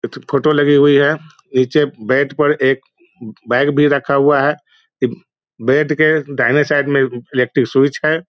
Photo लगी हुई है नीचे बेड पर एक बैग भी रहा हुआ है इब बेड के दाहिने साइड में इलेक्ट्रिक स्विच है ।